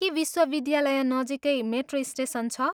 के विश्वविद्यालय नजिकै मेट्रो स्टेसन छ?